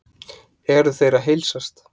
eru þeir að heilsast